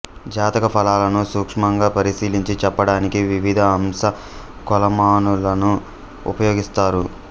జాతక ఫలాలను సూక్ష్మంగా పరిశీలించి చెప్పడానికి వివిధ అంశ కొలమానాలను ఉపయోగిస్తారు